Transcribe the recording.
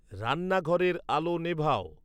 রান্নাঘরের আলো নেভাও